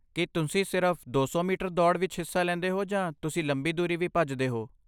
ਕੀ ਤੁਸੀਂ ਸਿਰਫ਼ ਦੋ ਸੌ ਮੀਟਰ ਦੌੜ ਵਿੱਚ ਹਿੱਸਾ ਲੈਂਦੇ ਹੋ ਜਾਂ ਤੁਸੀਂ ਲੰਬੀ ਦੂਰੀ ਵੀ ਭੱਜਦੇ ਹੋ?